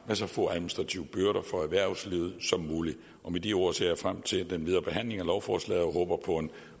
så få administrative byrder for erhvervslivet som muligt med de ord ser jeg frem til den videre behandling af lovforslaget og håber på en